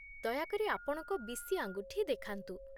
ଦୟାକରି ଆପଣଙ୍କ ବିଶି ଆଙ୍ଗୁଠି ଦେଖାନ୍ତୁ